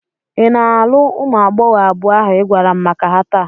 Ị na-alụ ụmụ agbọghọ abụọ ahụ ị gwara m maka ha taa?